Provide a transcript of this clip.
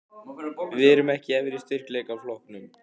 Við erum ekki í efri styrkleikaflokknum?